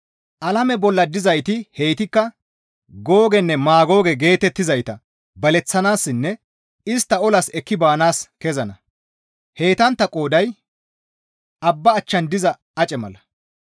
Alame bolla dizayti heytikka Googenne Maagooge geetettizayta baleththanaassinne istta olas ekki baanaas kezana; heytantta qooday abba achchan diza ace mala.